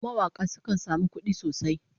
Mawaka sukan samu kudi sosai